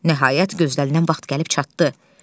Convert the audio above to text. Nəhayət gözlənilən vaxt gəlib çatdı.